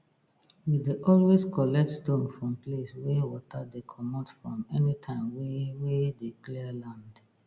we dey always collect stone for place wey water dey comot from anytime wey wey dey clear land